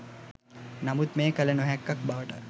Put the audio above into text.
නමුත් මෙය කළ නොහැක්කක් බවට